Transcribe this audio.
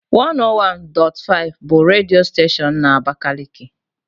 101.5 bụ redio steshoonu na abakaliki.